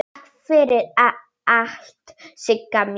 Takk fyrir allt Sigga mín.